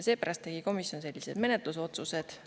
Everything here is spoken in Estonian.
Seepärast tegi komisjon sellised menetlusotsused.